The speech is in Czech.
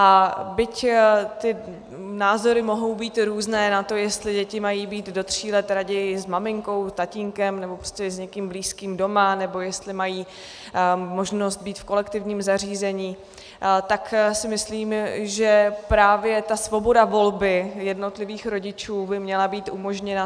A byť ty názory mohou být různé na to, jestli děti mají být do tří let raději s maminkou, tatínkem nebo prostě s někým blízkým doma, nebo jestli mají možnost být v kolektivním zařízení, tak si myslím, že právě ta svoboda volby jednotlivých rodičů by měla být umožněna.